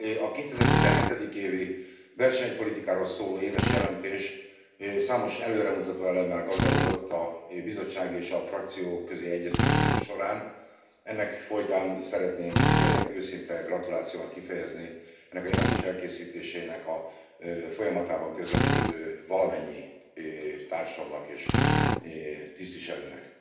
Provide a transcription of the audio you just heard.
2107. évi versenypolitikáról szóló éves jelentés számos előremutató elemmel gazdagodott a Bizottság és a frakcióközi egyeztetések során. Ennek folytán szeretném tényleg őszinte gratulációmat kifejezni ennek a jelentés elkészítésének a folyamatában közreműködő valamennyi társamnak és tisztviselőnek.